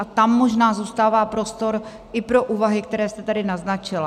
A tam možná zůstává prostor i pro úvahy, které jste tady naznačila.